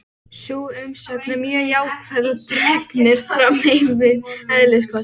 Sú umsögn er mjög jákvæð og dregnir fram ýmsir eðliskostir.